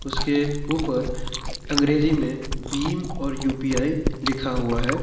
उसके ऊपर अंग्रेजी में भीम और यू_पी_आई लिखा हुआ है।